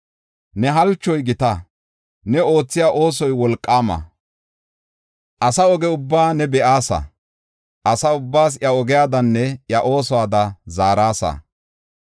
Ne halchoy gita; ne oothiya oosoy wolqaama. Asa oge ubbaa ne be7aasa; asa ubbaas iya ogiyadanne iya oosuwada zaarasa.